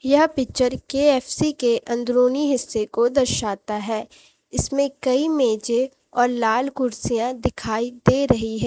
यह picture KFC के अंदरूनी हिस्से को दर्शाता है इसमें कई मेजे और लाल कुर्सियां दिखाई दे रही है।